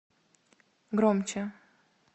громче